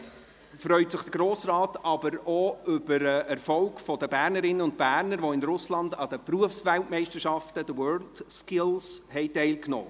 Weiter freut sich der Grosse Rat auch über den Erfolg der Bernerinnen und Berner, die in Russland an den Berufsweltmeisterschaften, den WorldSkills, teilnahmen.